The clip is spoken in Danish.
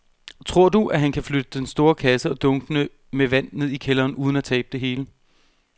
Tror du, at han kan flytte den store kasse og dunkene med vand ned i kælderen uden at tabe det hele?